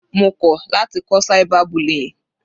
Mo kọ̀ láti kọ́ cyber bullying.